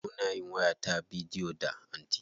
Muna yin waya ta bidiyo da anty.